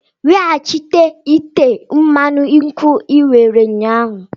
Wetaghachi ite mmanụ nkwu i were ụnyahụ!